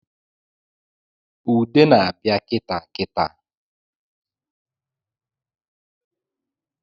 Ude na-abịa kitaa kitaa